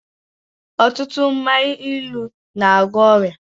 Ọtụtụ mmanya ilu n'agwọ ọrịa